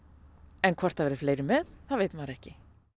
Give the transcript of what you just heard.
en hvort það verði fleiri með það veit maður ekki